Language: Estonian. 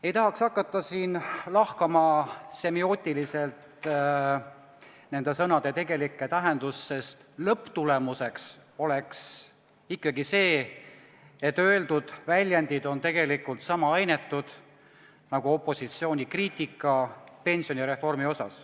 Ei tahaks hakata siin semiootiliselt lahkama nende sõnade tegelikku tähendust, sest lõpptulemuseks oleks ikkagi see, et öeldud väljendid on sama inetud nagu opositsiooni kriitika pensionireformi kohta.